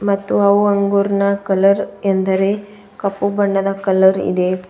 ಮತ್ತು ಅವು ಅಂಗುರ್ ನ ಕಲರ್ ಎಂದರೆ ಕಪ್ಪು ಬಣ್ಣದ ಕಲರ್ ಇದೆ.